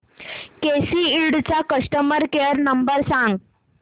केसी इंड चा customer care number सांग